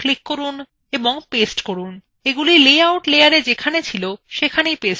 এগুলি লেআউট layerএ যেখানে ছিল সেখানেই পেস্ট হয়েছে